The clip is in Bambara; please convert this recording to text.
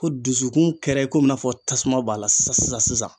Ko dusukun kɛra i komi i n'a fɔ tasuma b'a la sisan sisan